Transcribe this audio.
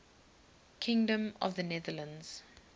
kingdom of the netherlands